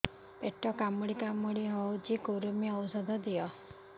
ପେଟ କାମୁଡି କାମୁଡି ହଉଚି କୂର୍ମୀ ଔଷଧ ଦିଅ